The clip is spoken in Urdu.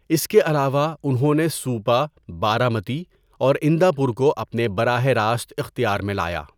اس کے علاوہ، انہوں نے سوُپا، بارامتی، اور اِندا پور کو اپنے براہ راست اختیار میں لایا۔